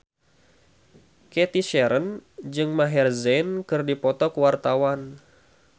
Cathy Sharon jeung Maher Zein keur dipoto ku wartawan